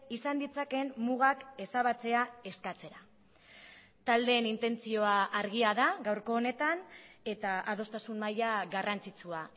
izan ditzakeen mugak ezabatzea eskatzera taldeen intentzioa argia da gaurko honetan eta adostasun maila garrantzitsua